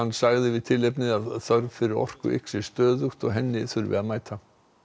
sagði við tilefnið að þörf fyrir orku yxi stöðugt og henni þurfi að mæta